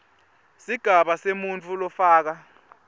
sigaba semuntfu lofaka